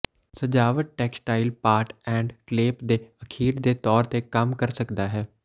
ਸਜਾਵਟ textile part and clip ਦੇ ਅਖੀਰ ਦੇ ਤੌਰ ਤੇ ਕੰਮ ਕਰ ਸਕਦਾ ਹੈ